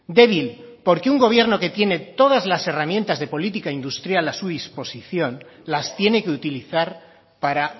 débil porque un gobierno que tiene todas las herramientas de política industrial a su disposición las tiene que utilizar para